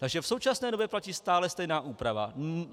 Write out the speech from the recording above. Takže v současné době platí stále stejná úprava.